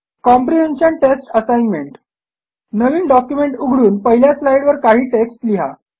comprehension test assignment नवीन document उघडून पहिल्या स्लाईडवर काही टेक्स्ट लिहा